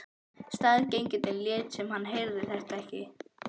Staðgengillinn lét sem hann heyrði þetta ekki.